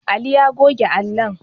Ali ya goge allon